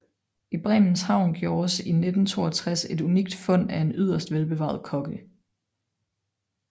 I Bremens havn gjordes i 1962 et unikt fund af en yderst velbevaret kogge